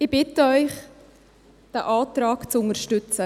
Ich bitte Sie, diesen Antrag zu unterstützen.